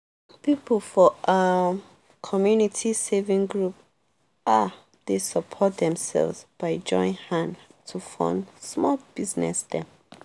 people for um community saving group um dey support themselves by join hand to fund small business dem